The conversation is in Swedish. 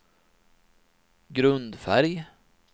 grundfärg